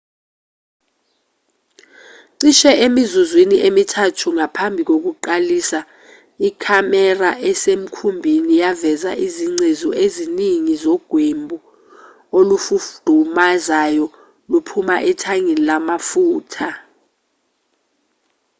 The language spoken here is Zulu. cishe emizuzwini emithathu ngaphambi kokuqalisa ikhamera esemkhumbini yaveza izingcezu eziningi zogwebu olufudumazayo luphuma ethangini lamafutha